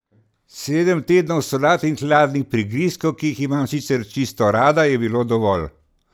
Sedem tednov solat in hladnih prigrizkov, ki jih imam sicer čisto rada, je bilo dovolj.